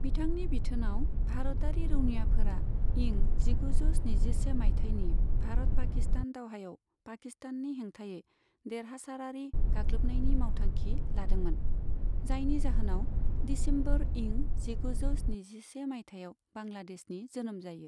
बिथांनि बिथोनाव, भारतारि रौनियाफोरा इं जिगुजौ स्निजिसे माइथायनि भारत पाकिस्तान दावहायाव पाकिस्ताननि हेंथायै देरहासारारि गाग्लोबनायनि मावथांखि लादोंमोन, जायनि जाहोनाव दिसेम्बर इं जिगुजौ स्निजिसे माइथायाव बांग्लादेशनि जोनोम जायो।